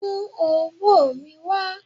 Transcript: mu owo mi wa!